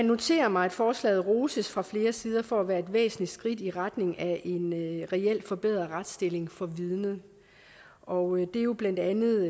noterer mig at forslaget roses fra flere sider for at være et væsentligt skridt i retning af en reelt forbedret retsstilling for vidnet og det er jo blandt andet